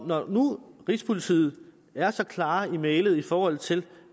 når nu rigspolitiet er så klar i mælet i forhold til